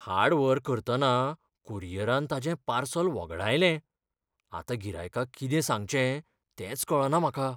हाड व्हर करतना कुरियरान ताचें पार्सल वगडायलें. आतां गिरायकाक कितें सांगचें तेंच कळना म्हाका.